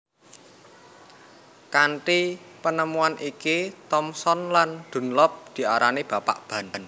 Kanthi penemuan iki Thomson lan Dunlop diarani Bapak Ban